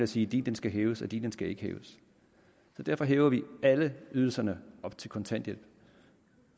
sige din skal hæves og din skal ikke hæves derfor hæver vi alle ydelserne op til kontanthjælp